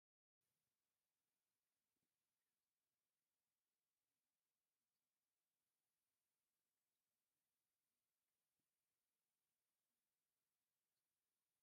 ናይ ሙዚቃ መሳርሒ ካብ ዝበሃሉ ሓደ ጊታር ኾይኑ ሙዚቃ ጥዑም ድምፂ ንክህልዎ ካብ ዝገብሩ ናይ ሙዚቃ መሳርሒ ሓደ እዩ። ጊታር ብምንታይ ይስራሕ ይመስለኩም?